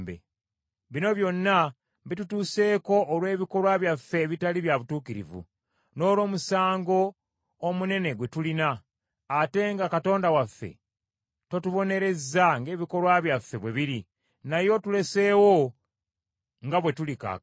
“Bino byonna bitutuuseeko olw’ebikolwa byaffe ebitali bya butuukirivu n’olw’omusango omunene gwe tulina, ate nga Katonda waffe totubonerezza ng’ebikolwa byaffe bwe biri, naye otuleseewo nga bwe tuli kaakano.